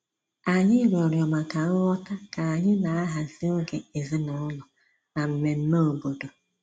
Anyị rịọrọ maka nghọta ka anyị na-ahazi oge ezinụlọ na mmemme obodo